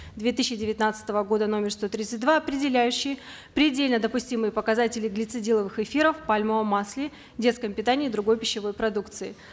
две тысячи девятнадцатого года номер сто тридцать два определяющей предельно допустимые показатели глицидиловых эфиров в пальмовом масле детском питании и другой пищевой продукции